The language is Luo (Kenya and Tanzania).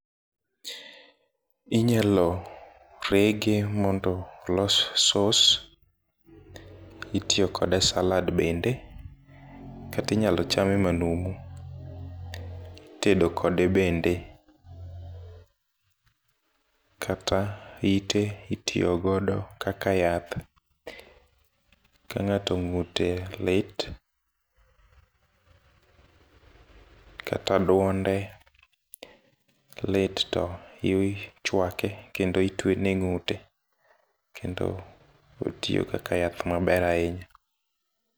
Inyalo rege mondo olos sauce , itiyo kode e salad bende kati nyalo chame manumu , itedo kode bende kata ite itiyo godo kaka yath ka ng'ato ng'ute lit , kata duonde lit to ichwake kendo itwene e ng'ute kendo otiyo kaka yath maber ahinya.